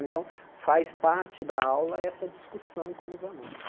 Então, faz parte da aula essa discussão com os alunos.